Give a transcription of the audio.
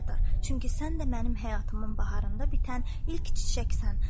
Çünki sən də mənim həyatımın baharında bitən ilk çiçəksən.